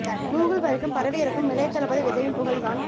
Google வரைக்கும் பரவி இருக்கும் இளைய தளபதி விஜய்யின் புகழ் தான்